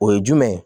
O ye jumɛn ye